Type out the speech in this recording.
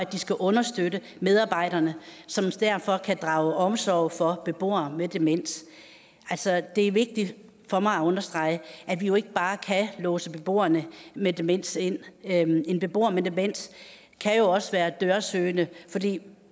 understøtte medarbejderne som derfor kan drage omsorg for beboere med demens altså det er vigtigt for mig at understrege at vi jo ikke bare kan låse beboere med demens inde en en beboer med demens kan jo også være dørsøgende fordi